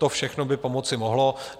To všechno by pomoci mohlo.